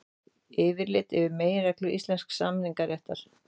Yfirlit um meginreglur íslensks samningaréttar.